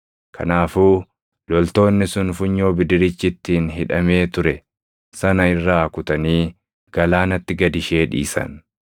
Kanaafuu loltoonni sun funyoo bidirichi ittiin hidhamee ture sana irraa kutanii galaanatti gad ishee dhiisan.